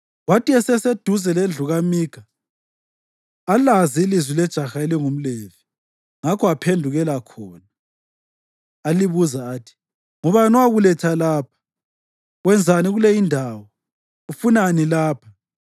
Kwathi eseseduze lendlu kaMikha alazi ilizwi lejaha elingumLevi; ngakho aphendukela khona alibuza athi, “Ngubani owakuletha lapha? Wenzani kule indawo? Ufunani lapha?”